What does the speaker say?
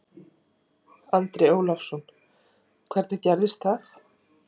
Andri Ólafsson: Hvernig gerðist það?